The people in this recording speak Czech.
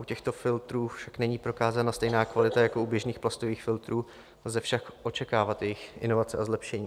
U těchto filtrů však není prokázána stejná kvalita jako u běžných plastových filtrů, lze však očekávat jejich inovace a zlepšení.